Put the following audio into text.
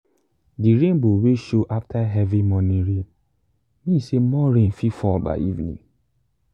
the rainbow wey show after heavy morning rain mean say more rain fit fall by evening.